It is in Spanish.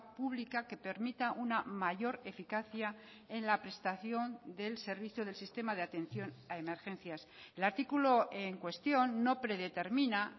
pública que permita una mayor eficacia en la prestación del servicio del sistema de atención a emergencias el artículo en cuestión no predetermina